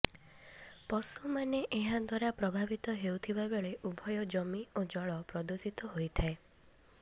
ପଶୁମାନେ ଏହାଦ୍ୱାରା ପ୍ରଭାବିତ ହେଉଥିବାବେଳେ ଉଭୟ ଜମି ଓ ଜଳ ପ୍ରଦୂଷିତ ହୋଇଥାଏ